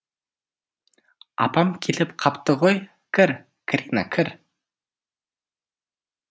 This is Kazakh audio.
апам келіп қапты ғой кір карина кір